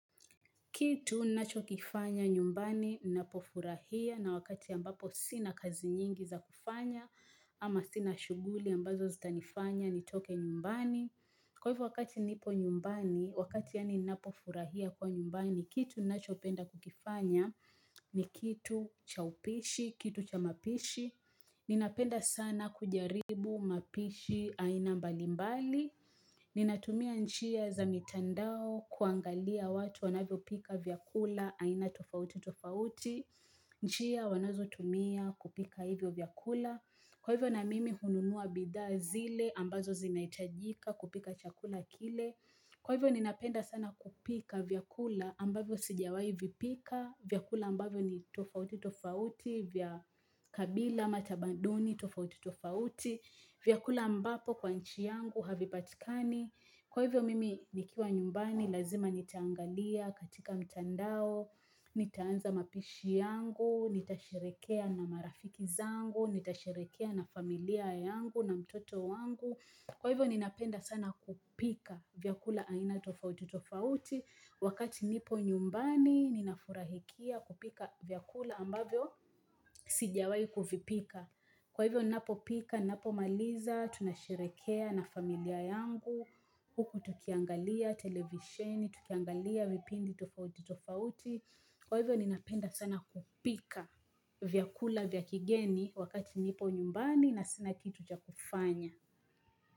Kitu nacho kifanya nyumbani, napofurahia na wakati ambapo sina kazi nyingi za kufanya, ama sina shuguli ambazo zita nifanya ni toke nyumbani. Kwa hivyo wakati nipo nyumbani, wakati ya ni napofurahia kuwa nyumbani, kitu nacho penda kukifanya ni kitu cha upishi, kitu cha mapishi. Ninapenda sana kujaribu mapishi aina mbalimbali Ninatumia njia za mitandao kuangalia watu wanavyo pika vyakula aina tofauti tofauti Nchia wanazo tumia kupika hivyo vyakula Kwa hivyo na mimi hununua bidhaa zile ambazo zinaitajika kupika chakula kile Kwa hivyo ninapenda sana kupika vyakula ambavyo sijawai vipika vyakula ambavyo ni tofauti tofauti. Vya kabila ama tabanduni tofauti tofauti. Vyakula ambapo kwa nchi yangu havipatikani. Kwa hivyo mimi nikiwa nyumbani lazima nitaangalia katika mtandao. Nitaanza mapishi yangu. Nitasherekea na marafiki zangu. Nitasherekea na familia yangu na mtoto wangu. Kwa hivyo ninapenda sana kupika vyakula aina tofauti tofauti wakati nipo nyumbani ninafurahikia kupika vyakula ambavyo sijawai kufipika. Kwa hivyo napo pika, napo maliza, tunasherekea na familia yangu, huku tukiangalia, televisheni, tukiangalia, vipindi tofauti tofauti. Kwa hivyo ninapenda sana kupika vyakula vya kigeni wakati nipo nyumbani na sina kitu cha kufanya.